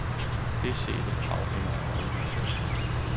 Det sete afhænger af øjnene, som ser.